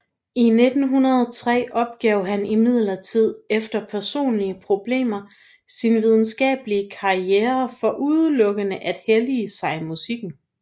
I 1903 opgav han imidlertid efter personlige problemer sin videnskabelige karriere for udelukkende at hellige sig musikken